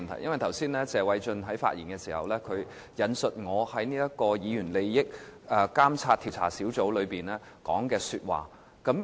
主席，謝偉俊議員剛才發言時引述我在議員個人利益監察委員會會議上所說的話。